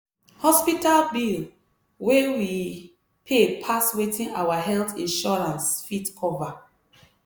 hospital bill wey we pay pass wetin our health insurance fit cover.